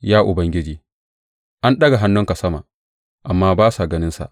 Ya Ubangiji an ɗaga hannunka sama, amma ba sa ganinsa.